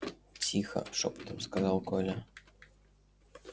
тихо шёпотом сказал коля